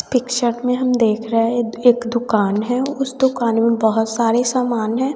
Picture में हम देख रहे हैं एक दुकान है उस दुकान में बहोत सारे सामान है।